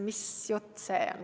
Mis jutt see on?